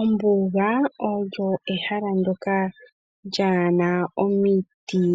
Ombuga olyo ehala ndjoka lyaana omiti